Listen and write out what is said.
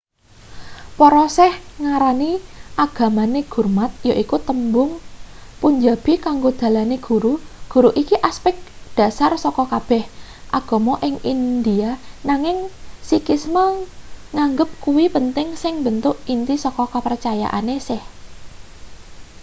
para sikh ngarani agamane gurmat yaiku tembung punjabi kanggo dalane guru guru iki asepek dhasar saka kabeh agama ing india nanging sikhisme nganggep kuwi penting sing mbentuk inti saka kepercayaane sikh